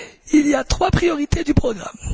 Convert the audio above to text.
Il y a trois priorités au programme.